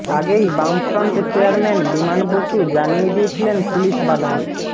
আগেই বামফ্রন্ট চেয়ারম্যান বিমান বসু জানিয়ে দিয়েছিলেন পুলিস বাধা